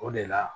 O de la